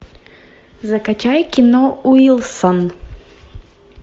закачай кино уилсон